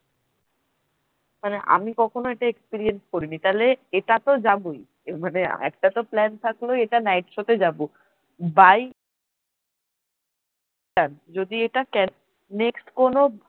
মানে আমি কখনো এটা experience করিনি তাহলে এটা তো যাবোই মানে একটা তো plan থাকলোই night show তে যাব by cab যদি এটা next কোন